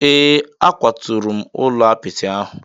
Ee, akwaturu m ụlọ apịtị ahụ.